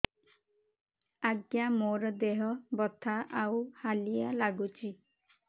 ଆଜ୍ଞା ମୋର ଦେହ ବଥା ଆଉ ହାଲିଆ ଲାଗୁଚି